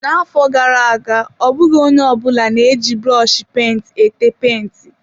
Na-afọ gara aga, ọ bụghị onye ọ bụla na-eji brọshi penti ete penti.